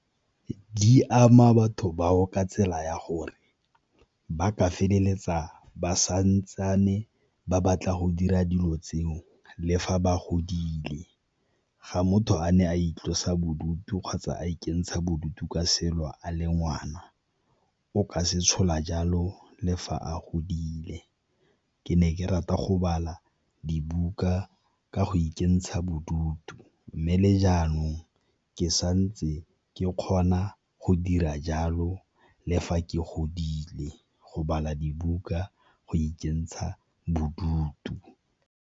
Di ama batho bao ka tsela ya gore ba ka feleletsa ba santsane ba batla go dira dilo tseo le fa ba godile, ga motho a ne a itlosa bodutu kgotsa a ikentsha bodutu ka selo a le ngwana o ka se tshola jalo le fa a godile. Ke ne ke rata go bala dibuka ka go ikentsha bodutu, mme le jaanong ke santse ke kgona go dira jalo le fa ke godile go bala dibuka go ikentsha bodutu.